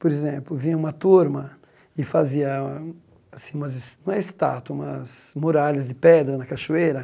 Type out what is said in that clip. Por exemplo, vinha uma turma e fazia assim umas es não é estátua, umas muralhas de pedra na cachoeira.